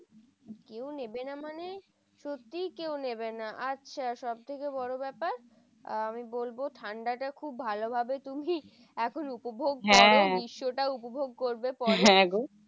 কেউ নেবে না মানে সত্যি কেউ নেবে না। আচ্ছা সবথেকে বড় ব্যাপার আমি বলবো, ঠান্ডাটা খুব ভালো ভাবে তুমি এখন উপভোগ করো। সেটা উপভোগ করবে পরে।